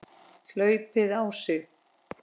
hlaupið á sig?